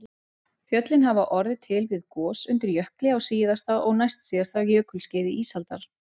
Fjöllin hafa orðið til við gos undir jökli á síðasta og næstsíðasta jökulskeiði ísaldar